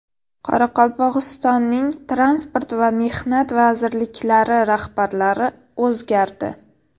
Qoraqalpog‘istonning Transport va Mehnat vazirliklari rahbarlari o‘zgardi.